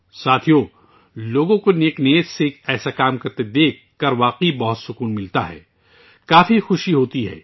دوستو، لوگوں کو نیک نیتی سے اس طرح کے کام کرتے ہوئے دیکھنا واقعی مسرت آگیں ہوتا ہے، بہت خوشی ہوتی ہے